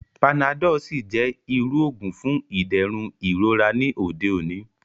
Panadọ́l sì jẹ́ irú òògùn fún ìdẹ̀rùn ìrora ní òde òní